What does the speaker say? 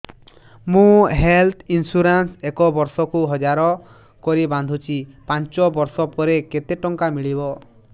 ମୁ health insurance ଏକ ବର୍ଷକୁ ହଜାର କରି ବାନ୍ଧୁଛି ପାଞ୍ଚ ବର୍ଷ ପରେ କେତେ ଟଙ୍କା ମିଳିବ